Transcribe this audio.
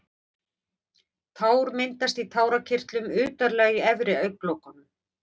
Tár myndast í tárakirtlum utarlega í efri augnlokunum.